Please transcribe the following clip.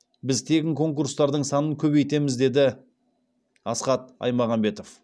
біз тегін конкурстардың санын көбейтеміз деді асхат аймағамбетов